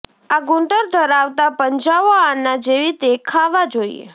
આ ગુંદર ધરાવતા પંજાઓ આના જેવી દેખાવા જોઈએ